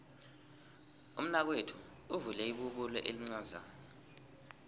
umnakwethu uvule ibubulo elincazana